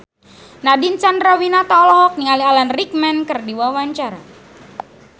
Nadine Chandrawinata olohok ningali Alan Rickman keur diwawancara